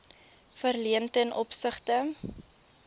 verleen ten opsigte